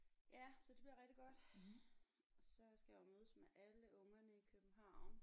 Ja så det bliver rigtig godt så skal jeg jo mødes med alle ungerne i København